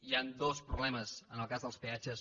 hi han dos problemes en el cas dels peatges